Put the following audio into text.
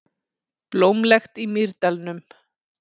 Blómlegt í Mýrdalnum